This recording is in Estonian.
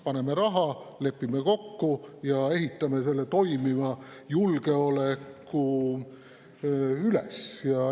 Paneme sinna raha, lepime kokku ja ehitame toimiva julgeoleku üles.